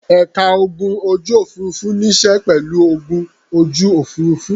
Ẹ̀ka ogun ojú-òfurufú níṣe pẹ̀lú ogun ojú òfurufú.